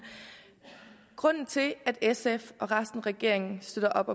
grunden til at sf og resten af regeringen støtter op